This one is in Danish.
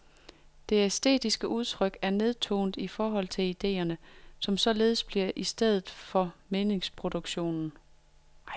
Det æstetiske udtryk er nedtonet i forhold til ideerne, som således bliver stedet for meningsproduktion.